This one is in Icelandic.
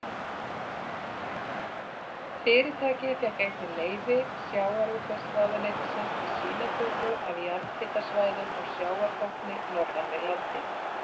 Fyrirtækið fékk einnig leyfi sjávarútvegsráðuneytisins til sýnatöku af jarðhitasvæðum á sjávarbotni norðan við landið.